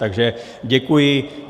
Takže děkuji.